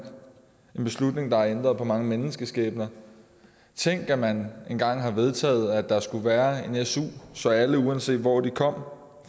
en beslutning der har ændret mange menneskeskæbner tænk at man engang har vedtaget at der skulle være en su så alle uanset hvor de kom